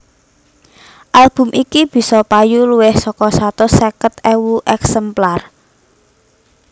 Album iki bisa payu luwih saka satus seket ewu èksemplar